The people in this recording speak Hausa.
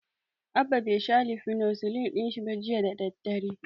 Abba bai sha lisinofiril ɗin sa ba jiya da daddare.